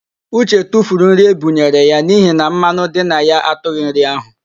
Uche tufuru nri e bunyere ya n'ihi na mmanụ dị na ya atụghị nri ahụ